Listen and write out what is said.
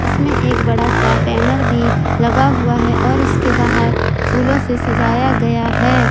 इसमें एक बड़ा सा बैनर भी लगा हुआ है और इसके बाहर फूलों से सजाया गया है।